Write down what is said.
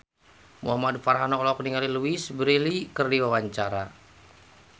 Muhamad Farhan olohok ningali Louise Brealey keur diwawancara